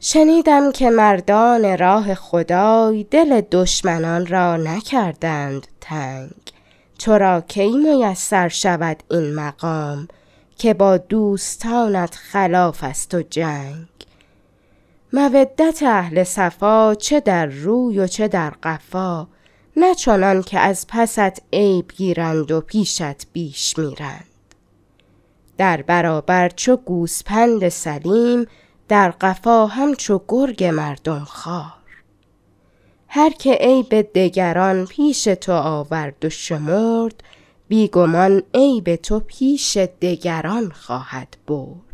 شنیدم که مردان راه خدای دل دشمنان را نکردند تنگ تو را کی میسر شود این مقام که با دوستانت خلاف است و جنگ مودت اهل صفا چه در روی و چه در قفا نه چنان کز پست عیب گیرند و پیشت بیش میرند در برابر چو گوسپند سلیم در قفا همچو گرگ مردم خوار هر که عیب دگران پیش تو آورد و شمرد بی گمان عیب تو پیش دگران خواهد برد